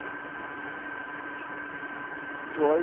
জল